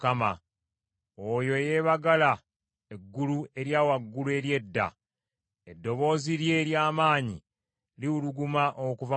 Oyo eyeebagala eggulu erya waggulu ery’edda, eddoboozi lye ery’amaanyi liwuluguma okuva mu ggulu.